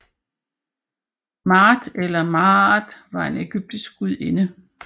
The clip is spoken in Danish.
Maat eller Maàt var en egyptisk gudinde